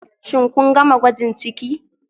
Shin kun gama gwajin ciki